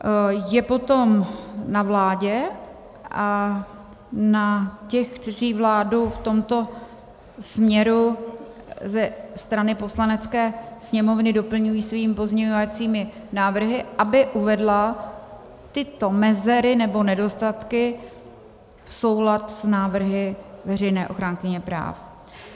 Je potom na vládě a na těch, kteří vládu v tomto směru ze strany Poslanecké sněmovny doplňují svými pozměňovacími návrhy, aby uvedli tyto mezery nebo nedostatky v soulad s návrhy veřejné ochránkyně práv.